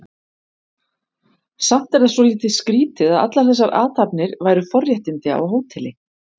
Samt er það svolítið skrýtið að allar þessar athafnir væru forréttindi á hóteli.